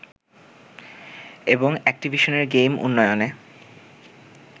এবং অ্যাকটিভিশনের গেম উন্নয়নে